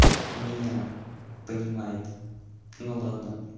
меня понимает ну ладно